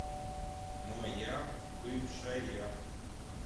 моя бывшая